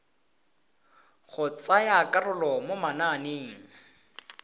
go tsaya karolo mo mananeng